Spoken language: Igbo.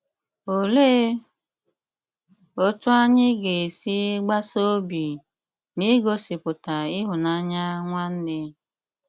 Òlee otú anyị ga-esi “gbasa obi” n’ịgosipụta ịhụnanya nwanne?